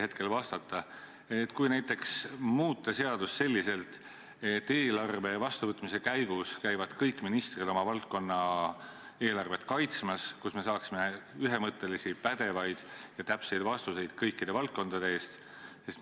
Kuidas te suhtute ettepanekusse, kui näiteks muuta seadust selliselt, et eelarve vastuvõtmise käigus käivad kõik ministrid oma valdkonna eelarvet kaitsmas ning me saaksime ühemõttelisi, pädevaid ja täpseid vastuseid kõikides valdkondades?